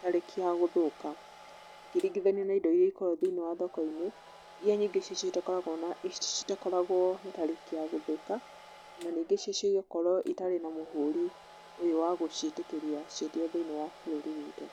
tarĩki ya gũthũka, ũkĩringithania na indo iria ikoragwo thĩiniĩ wa thoko-inĩ, iria nyingĩ citakoragwo na tarĩki ya gũthũka, na nyingĩ cia cio ĩgakorwo ĩtarĩ na mũhũri ũyũ wa gũciĩtĩkĩria ciendio thĩiniĩ wa bũrũri witũ.